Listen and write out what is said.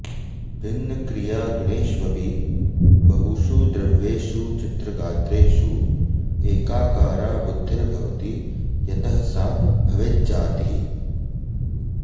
भिन्नक्रियागुणेष्वपि बहुषु द्रव्येषु चित्रगात्रेषु एकाकारा बुद्धिर्भवति यतः सा भवेज्जातिः